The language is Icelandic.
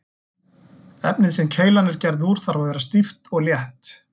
Efnið sem keilan er gerð úr þarf að vera stíft og létt.